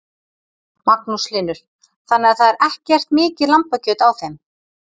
Magnús Hlynur: Þannig að það er ekkert mikið lambakjöt á þeim?